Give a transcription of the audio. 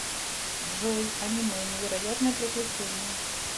джой аниме невероятное приключение